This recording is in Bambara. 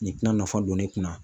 Nin tina nafa don ne kun na